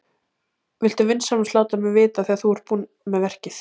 Viltu vinsamlega láta mig vita þegar þú ert búin með verkið?